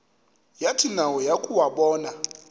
yathi nayo yakuwabona